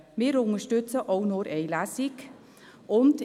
Wir unterstützen auch nur eine Lesung.